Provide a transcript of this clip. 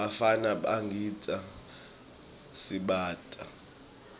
bafana bagidza sibhaca